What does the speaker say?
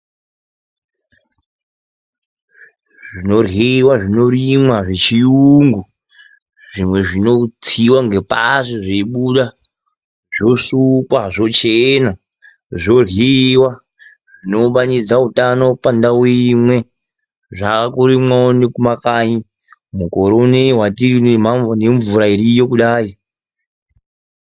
Zvinoryiwa zvinorimwa zvechiyungu zvimwe zvinotsiwa ngepashi zveibuda zvosukwa zvochena zvoryiwa. Zvinounganidza utano pandau imwe zvakurimwawo nemumakanyi mukore unoo watiri nemvura iriyo kudai .